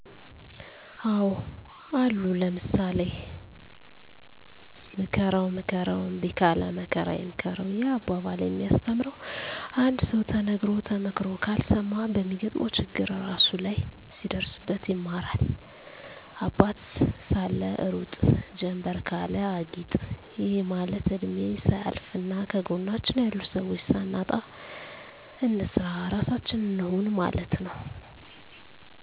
አዎ አሉ ለምሳሌ፦ ምከረዉ ምከረዉ እምቢ ካለ መከራ ይምከረዉ ይህ አባባል የሚያስተምረዉ አንድ ሰዉ ተነግሮ ተመክሮ ካልሰማ በሚገጥመዉ ችግር እራሱ ላይ ሲደርስበት ይማራል - አባት ሳለ ሩጥ ጀምበር ካለ አጊጥ ይህ ማለት እድሜ ሳያልፋና ከጎናችን ያሉ ሰዎች ሳናጣ እንስራ ራሳችን እንሁን ማለት ነዉ